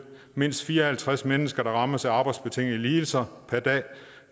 mindst fire og halvtreds mennesker der rammes af arbejdsbetingede lidelser